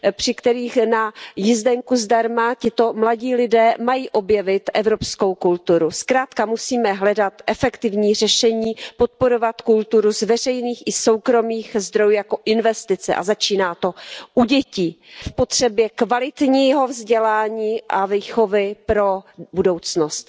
Europe při kterém na jízdenku zdarma tito mladí lidé mají objevit evropskou kulturu. Zkrátka musíme hledat efektivní řešení, podporovat kulturu z veřejných i soukromých zdrojů jako investici a začíná to u dětí v potřebě kvalitního vzdělání a výchovy pro budoucnost.